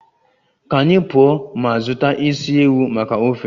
Ka anyị pụọ ma zụta isi ewu maka ofe